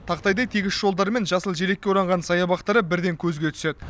тақтайдай тегіс жолдары мен жасыл желекке оранған саябақтары бірден көзге түседі